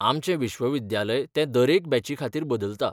आमचें विश्वविद्यालय ते दरेक बॅचीखातीर बदलता.